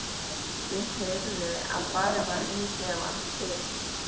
Ég heyrði að farið var inn í klefann til